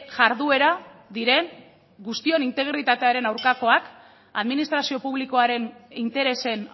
jarduera diren guztion integritatearen aurkakoak administrazio publikoaren interesen